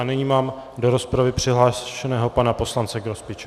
A nyní mám do rozpravy přihlášeného pana poslance Grospiče.